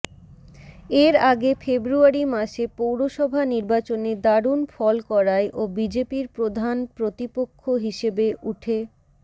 এর আগে ফেব্রুয়ারি মাসে পৌরসভা নির্বাচনে দারুণ ফল করায় ও বিজেপির প্রধান প্রতিপক্ষ হিসাবে উঠে